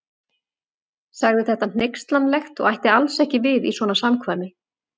Sagði þetta hneykslanlegt og ætti alls ekki við í svona samkvæmi.